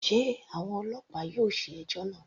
Sé àwọn ọlọ́pàá yóò ṣe ẹjọ́ náà.